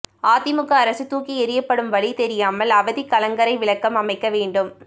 அதிமுக அரசு தூக்கி எறியப்படும் வழி தெரியாமல் அவதி கலங்கரை விளக்கம் அமைக்க வேண்டும்